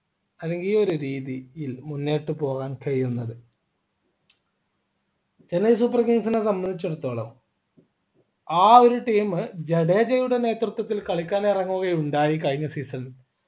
അല്ലെങ്കിൽ ഈയൊരു രീതി ൽ മുന്നോട്ടു പോകാൻ കഴിയുന്നത് ചെന്നൈ super kings നെ സംബന്ധിച്ചിടത്തോളം ആ ഒരു team ജഡേജയുടെ നേതൃത്വത്തിൽ കളിക്കുകയുണ്ടായി കഴിഞ്ഞ season ൽ